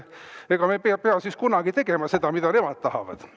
Ega me ei pea siis selle pärast tegema seda, mida nemad tahavad.